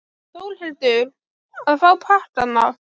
Þórhildur: Að fá pakkana?